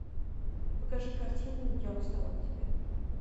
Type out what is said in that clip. покажи картину я устал от тебя